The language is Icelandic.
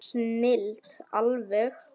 Snilld alveg!